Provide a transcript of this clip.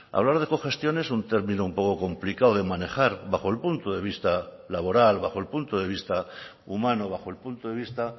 hablar de cogestión es un término un poco complicado de manejar bajo el punto de vista laboral bajo el punto de vista humano bajo el punto de vista